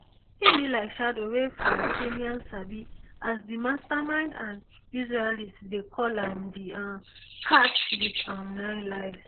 e bin be like shadow wey palestinians sabi as di mastermind and israelis dey call am di um cat wit um nine lives